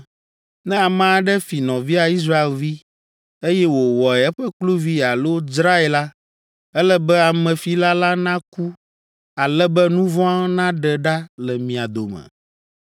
Ne ame aɖe fi nɔvia Israelvi, eye wòwɔe eƒe kluvi alo dzrae la, ele be amefila la naku ale be nu vɔ̃ naɖe ɖa le mia dome.